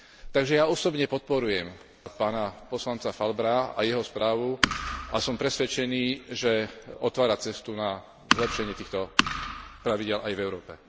Takže ja osobne podporujem pána poslanca Falbra a jeho správu a som presvedčený, že otvára cestu na zlepšenie týchto pravidiel aj v Európe.